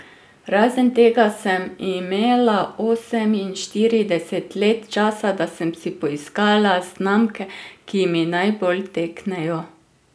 Razen tega sem imela oseminštirideset let časa, da sem si poiskala znamke, ki mi najbolj teknejo.